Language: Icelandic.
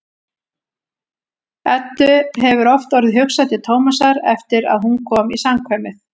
Eddu hefur oft orðið hugsað til Tómasar eftir að hún kom í samkvæmið.